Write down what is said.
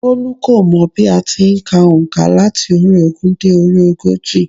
Bólú kò mọ̀ bí a ti n ka ònkà láti orí i ogún dé orí ogójì